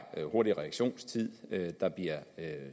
er hurtig reaktionstid der bliver